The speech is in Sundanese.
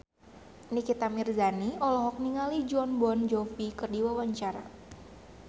Nikita Mirzani olohok ningali Jon Bon Jovi keur diwawancara